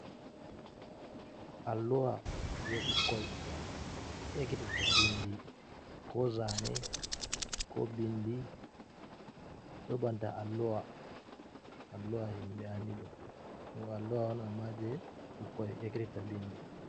Alluha jey ɓukkoy ekkititta binndi, ko zaane, ko bindi, ɗo banta alluha. Alluha himɓe anndi ɗo, ɗum alluha on ammaa jey ɓukkoy ekkititta binndi.